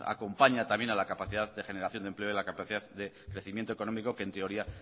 acompaña también a la capacidad de generación de empleo y la capacidad de crecimiento económico que en teoría